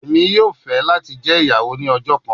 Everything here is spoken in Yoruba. Emi yoo fẹ lati jẹ iyawo ni ọjọ kan